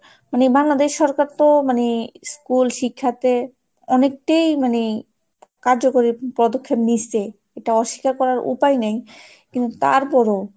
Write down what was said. মানে বাংলাদেশ সরকার তো মানে school শিক্ষাতে অনেকটাই মানে কার্যকরী পদক্ষেপ নিচ্ছে এটা অস্বীকার করার উপায় নেই কিন্তু তারপরও,